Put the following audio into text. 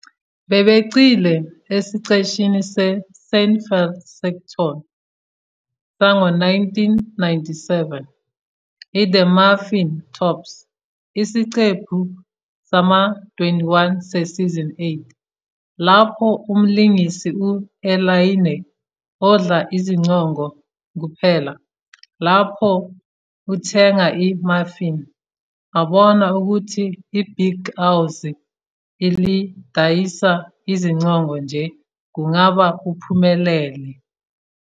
Bebegxile esiqeshini se- "Seinfeld sitcom sango-" 1997, i- "The Muffin Tops ", isiqephu sama-21 sesizini 8, lapho umlingisi u-Elaine, odla iziqongo kuphela lapho uthenga i-muffin, abona ukuthi ibhikawozi elidayisa iziqongo nje kungaba uphumelele.